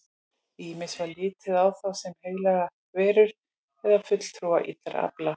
Ýmist var litið á þá sem heilagar verur eða fulltrúa illra afla.